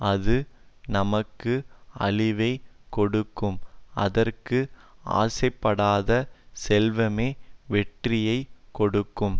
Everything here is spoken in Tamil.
அது நமக்கு அழிவை கொடுக்கும் அதற்கு ஆசைப்படாத செல்வமோ வெற்றியை கொடுக்கும்